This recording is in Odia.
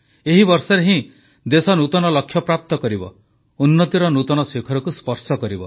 ଏହି ବର୍ଷରେ ହିଁ ଦେଶ ନୂତନ ଲକ୍ଷ୍ୟପ୍ରାପ୍ତ କରିବ ଉନ୍ନତିର ନୂତନ ଶିଖରକୁ ସ୍ପର୍ଶ କରିବ